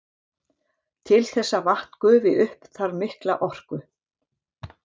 Til þess að vatn gufi upp þarf mikla orku.